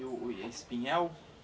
E o o espinhel?